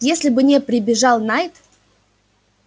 если бы не прибежал найд